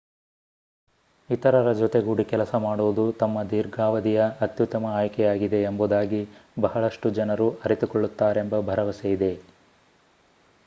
ಇತರರ ಜೊತೆಗೂಡಿ ಕೆಲಸ ಮಾಡುವುದು ತಮ್ಮ ದೀರ್ಘಾವಧಿಯ ಅತ್ಯುತ್ತಮ ಆಯ್ಕೆಯಾಗಿದೆ ಎಂಬುದಾಗಿ ಬಹಳಷ್ಟು ಜನರು ಅರಿತುಕೊಳ್ಳುತ್ತಾರೆಂಬ ಭರವಸೆಯಿದೆ